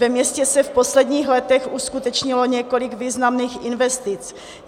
Ve městě se v posledních letech uskutečnilo několik významných investic.